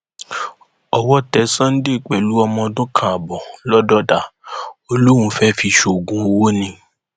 buhari ti sọrọ ó ní buni ni kò sètò ìdìbò gbọgbẹkọọ apc